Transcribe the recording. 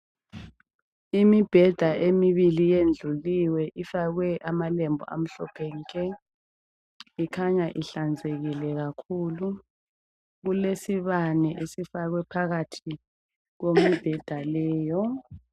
Imibheda emibili iyendluliwe, ifakwe amalembu amhlophe nke. Ikhanya ihlanzekile kakhulu kulesibane esifakwe phakathi kwembheda leyo.